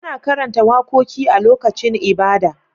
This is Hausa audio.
Ana karanta wakoki a lokacin ibada